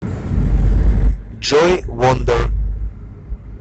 джой вондер